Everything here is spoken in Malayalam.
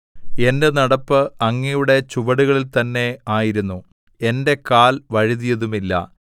എന്റെ നടപ്പ് അങ്ങയുടെ ചുവടുകളിൽ തന്നെ ആയിരുന്നു എന്റെ കാൽ വഴുതിയതുമില്ല